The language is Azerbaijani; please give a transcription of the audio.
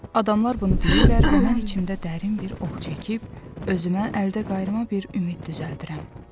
Adamlar bunu deyirlər və mən içimdə dərin bir oh çəkib, özümə əldə qayrılma bir ümid düzəldirəm.